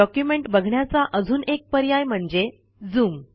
document बघण्याचा अजून एक पर्याय म्हणजे झूम